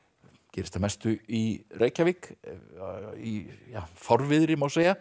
gerist að mestu í Reykjavík í fárviðri má segja